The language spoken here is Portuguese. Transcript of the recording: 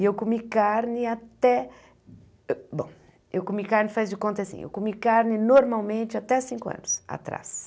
E eu comi carne até... Bom, eu comi carne, faz de conta assim, eu comi carne normalmente até cinco anos atrás.